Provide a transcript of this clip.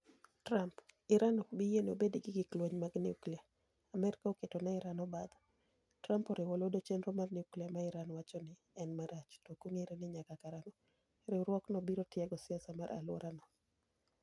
Trump: Iran ok bi yiene obed gi gik lwenymag nyukilia. Amerka oketo ne Iran obadho . Trump oriwo lwedo chenro mar nyukilia ma Iran nowacho ni ''En marach'' To ok ong'ere ni nyaka karang'o, riwruok no biro tiego siasa mar aluora no.